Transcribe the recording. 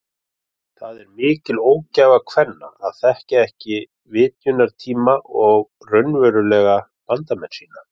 Það er mikil ógæfa kvenna að þekkja ekki vitjunartíma og raunverulega bandamenn sína.